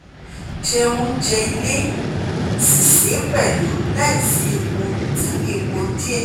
Jẹ oúnjẹ ilé si se pẹ̀lú láìsí epo tabi epo diẹ